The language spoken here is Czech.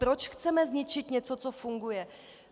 Proč chceme zničit něco, co funguje?